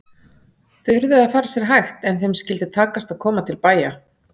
Þau yrðu að fara sér hægt en þeim skyldi takast að komast til bæja!